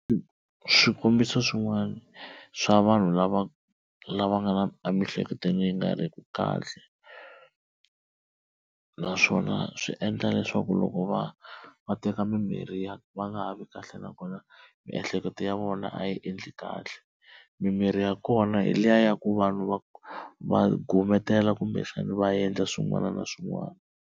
Swikombiso swin'wana swa vanhu lava lava nga na emiehleketweni yi nga riki kahle naswona swi endla leswaku loko va va teka mimirhi ya va nga ha vi kahle nakona miehleketo ya vona a yi endli kahle. Mimirhi ya kona hi liya ya ku vanhu va va gunetela kumbexana va endla swin'wana na swin'wana.